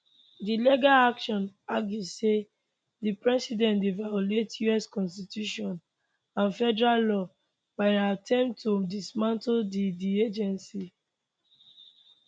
di legal action argue say di president dey violate us constitution and federal law by im attempt to dismantle di di agency